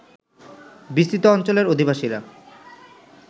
বিস্তৃত অঞ্চলের অধিবাসীরা